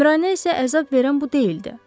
Əmrainə isə əzab verən bu deyildi.